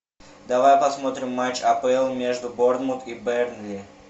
давай посмотрим матч апл между борнмут и бернли